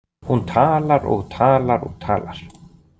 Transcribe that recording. Hún talar og talar og talar.